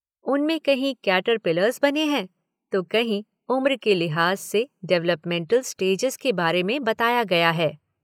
उनमें कहीं कैटरपिलर्स बने हैं तो कहीं उम्र के लिहाज़ से डवलपमेन्टल स्टेजेज़ के बारे में बताया गया है।